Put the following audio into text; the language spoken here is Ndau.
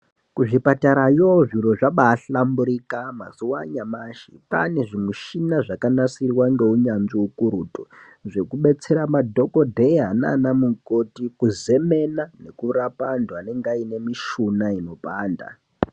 Kuzvipatarayo zviro zvabahlamburika mazuwa anyamashi kwaane zvimushina zvakanasirwa ngeunyanzvi ukurutu zvekubetsera madhokodheya naanamukoti kuzemena nekurapa antu anenge aine mishuna inopanda.